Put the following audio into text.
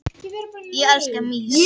Týra, spilaðu lagið „Ég þekki þig“.